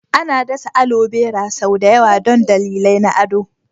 Ana dasa alobera sau da yawa don dalilai na ado.